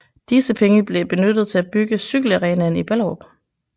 Disse penge blev benyttet til at bygge cykelarenaen i Ballerup